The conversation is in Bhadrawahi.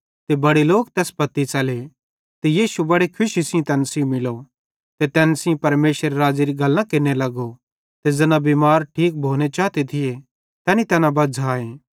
ते बड़े लोक तैस पत्ती च़ले ते यीशु बड़े खुशी सेइं तैन सेइं मिलो ते तैन सेइं परमेशरेरे राज़्ज़ेरी गल्लां केरने लगो ते ज़ैना बिमार ठीक भोनू चाते थिये तैनी तैना बज़्झ़ाए